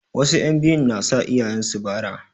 Wasu 'yan biyun na sa iyayen su bara.